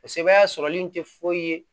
O sɛbɛn sɔrɔli in tɛ foyi ye